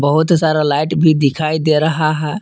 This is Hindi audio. बहुत सारा लाइट भी दिखाई दे रहा है।